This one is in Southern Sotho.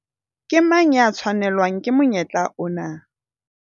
Ke mang ya tshwanelwang ke monyetla ona?